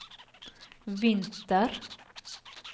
vinter